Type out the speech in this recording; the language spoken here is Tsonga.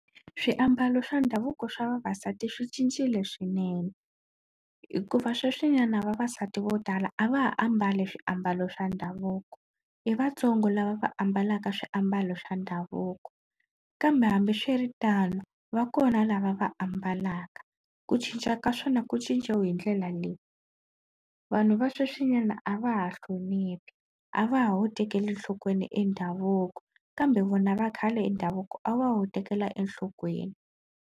Swiambalo swa ndhavuko swa vavasati swi cincile swinene hikuva sweswinyana vavasati vo tala a va ha ambali swiambalo swa ndhavuko i vatsongo lava va ambalaka swiambalo swa ndhavuko. Kambe hambiswiritano va kona lava va ambalaka, ku cinca ka swona ku cinciwe hi ndlela leyi, vanhu va sweswinyana a va ha hloniphi a va ha wu tekeli enhlokweni e ndhavuko kambe vona va khale ndhavuko a wa wu tekela enhlokweni.